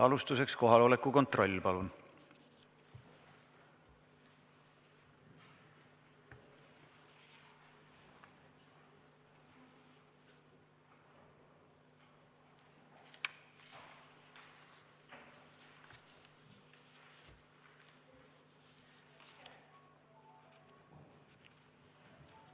Alustuseks kohaloleku kontroll, palun!